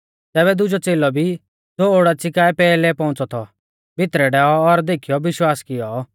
तैबै दुजौ च़ेलौ भी ज़ो ओडाच़ी काऐ पैहलै पौउंच़ौ थौ भितरै डैऔ और देखीयौ विश्वास किऔ